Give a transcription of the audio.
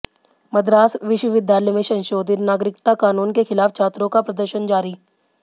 मद्रास विश्वविद्यालय में संशोधित नागरिकता कानून के खिलाफ छात्रों का प्रदर्शन जारी